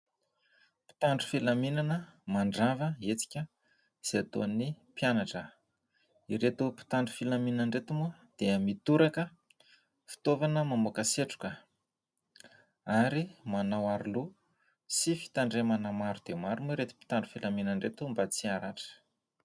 Mpitandro filaminana mandrava ny hetsika izay ataon'ny mpianatra. Ireto mpitandro filaminana ireto moa dia mitoraka fitaovana mamoaka setroka, ary manao aro loha sy fitandremana maro dia maro moa ireto mpitandro filaminana ireto, mba tsy haratra.